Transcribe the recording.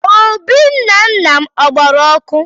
Obì nna nna m a gbara ọkụ?